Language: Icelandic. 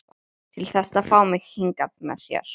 Til þess að fá mig hingað með þér.